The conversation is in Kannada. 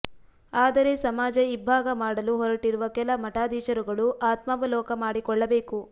ಆದರೆ ಸಮಾಜ ಇಭ್ಭಾಗ ಮಾಡಲು ಹೊರಟಿರುವ ಕೆಲ ಮಠಾದೀಶರುಗಳು ಆತ್ಮಾವಲೋಕ ಮಾಡಿಕೊಳ್ಳಬೇಕು